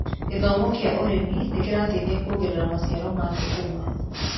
Gĩthomo kĩa ũrĩmi nĩkĩrateithia kuongerera maciaro ma thũkũma.